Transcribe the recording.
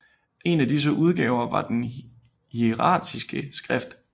En af disse udgaver var den hieratiske skrift